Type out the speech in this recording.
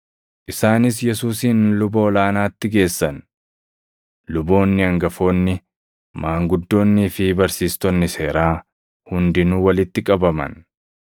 Isaanis Yesuusin luba ol aanaatti geessan; luboonni hangafoonni, maanguddoonnii fi barsiistonni seeraa hundinuu walitti qabaman.